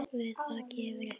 Guð vaki yfir ykkur.